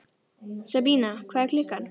Sabína, hvað er klukkan?